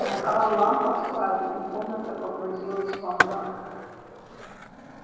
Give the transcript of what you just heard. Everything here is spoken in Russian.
накал ламп ослабел и комната погрузилась во мрак